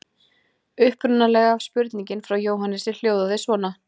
Upprunalega spurningin frá Jóhannesi hljóðaði svona: